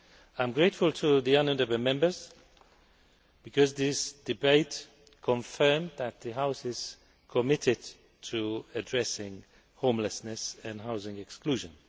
I am grateful to the honourable Members, because this debate confirmed that the House is committed to addressing homelessness and housing exclusion.